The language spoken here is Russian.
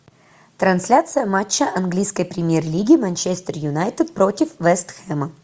трансляция матча английской премьер лиги манчестер юнайтед против вест хэма